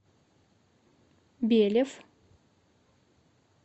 белев